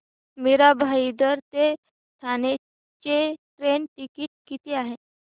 मीरा भाईंदर ते ठाणे चे train ticket किती आहे